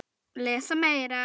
Lesa meira